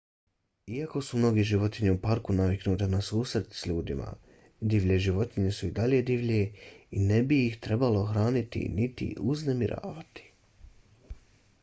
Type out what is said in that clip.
iako su mnoge životinje u parku naviknute na susrete s ljudima divlje životinje su i dalje divlje i ne bi ih trebalo hraniti niti uznemiravati